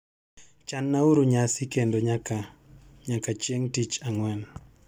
Chan uru nyasi kendo nyaka nyaka chieng' tich ang'wen